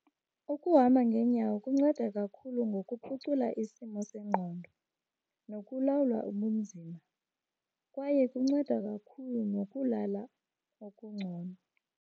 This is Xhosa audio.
Ukuhamba ngeenyawo kunceda kakhulu ngokuphucula isimo sengqondo nokulawulwa ubunzima, kwaye kunceda kakhulu nokulala okungcono.